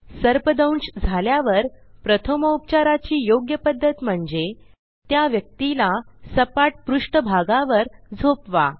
सर्पदंश झाल्यावर प्रथमोपचाराची योग्य पध्दत म्हणजे त्या व्यक्तीला सपाट पृष्ठभागावर झोपवा